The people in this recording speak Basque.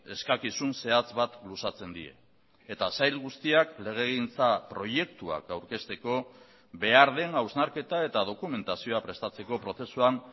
eskakizun zehatz bat luzatzen die eta sail guztiak legegintza proiektuak aurkezteko behar den hausnarketa eta dokumentazioa prestatzeko prozesuan